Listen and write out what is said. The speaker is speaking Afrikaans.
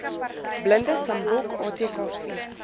blinde sambok atkv